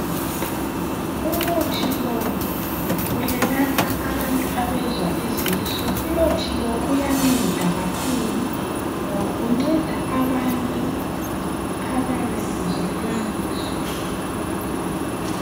Umuthi lo uyelapha abantu abezwa izisu umuthi lo uyanceda kakhulu ngoba unceda abantu ababesizwa izisu.